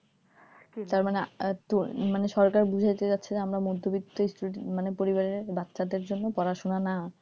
তারমানে সরকার বোঝাতে চাচ্ছে যে আমরা মধ্যবিত্ত student পরিবারের বাচ্চাদের জন্য পড়াশোনা না,